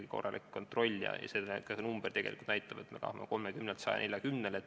Siin on ikkagi kontroll ja sellest tegelikult räägib ka see, et me tahame abistajate arvu suurendada 30-lt 140-ni.